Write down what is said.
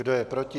Kdo je proti?